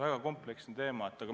Väga kompleksne teema.